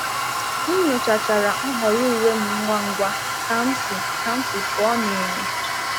M nyochachara nhọrọ uwe m ngwa ngwa ka m si ka m si pụọ n’enyo.